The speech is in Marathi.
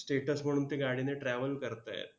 Status म्हणून त्या गाड्यांनी travel करतायत.